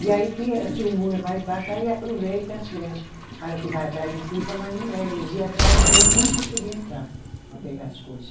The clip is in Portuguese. E aí que, se o muro é mais baixo, aí aproveita, as criança fala que vai atrás do pipa, mas não é. Eles ia atrás de ver como que podia entrar, para pegar as coisa.